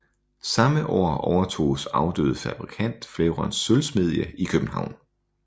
Samme år overtoges afdøde fabrikant Flerons sølvsmedie i København